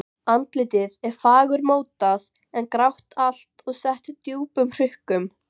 Andlitið er fagurmótað en grátt allt og sett djúpum hrukkum.